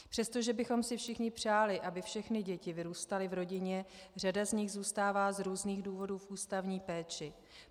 Přestože bychom si všichni přáli, aby všechny děti vyrůstaly v rodině, řada z nich zůstává z různých důvodů v ústavní péči.